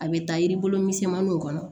A bɛ taa yiribulu misɛnmaninw kɔnɔ